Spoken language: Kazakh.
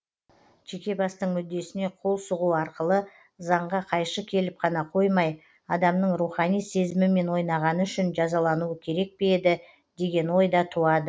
жеке бастың мүддесіне қол сұғу арқылы заңға қайшы келіп қана қоймай адамның рухани сезімімен ойнағаны үшін жазалануы керек пе еді деген ой да туады